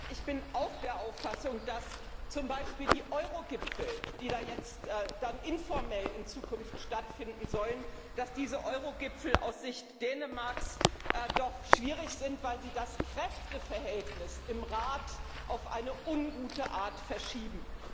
Ich bin auch der Auffassung, dass zum Beispiel die Eurogipfel, die jetzt in informell Zukunft stattfinden sollen, aus Sicht Dänemarks doch schwierig sind, weil sie das Kräfteverhältnis im Rat auf eine ungute Art verschieben.